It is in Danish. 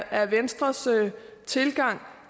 er venstres tilgang